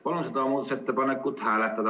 Palun seda muudatusettepanekut hääletada.